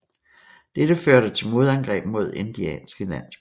Dette førte til modangreb mod indianske landsbyer